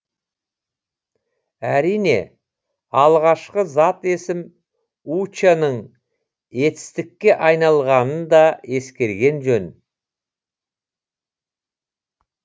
әрине алғашқы зат есім уча ның етістікке айналғанын да ескерген жөн